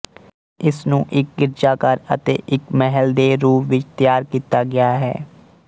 ਇਸਨੂੰ ਇੱਕ ਗਿਰਜਾਘਰ ਅਤੇ ਇੱਕ ਮਹਿਲ ਦੇ ਰੂਪ ਵਿੱਚ ਤਿਆਰ ਕੀਤਾ ਗਿਆ ਹੈ